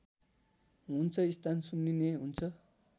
हुन्छ स्थान सुन्निने हुन्छ